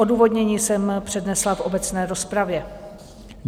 Odůvodnění jsem přednesla v obecné rozpravě.